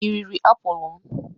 Ị riri apụl m?